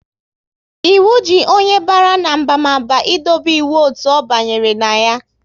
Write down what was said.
Ịwu ji onye bara n'abamaba ị dobe iwu otu ọ banyere na ya